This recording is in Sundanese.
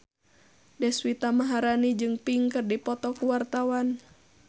Deswita Maharani jeung Pink keur dipoto ku wartawan